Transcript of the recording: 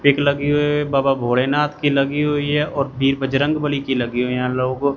pick लगी हुई है बाबा भोलेनाथ की लगी हुई है और बीर बजरंगबली की लगी है यहां लोगो--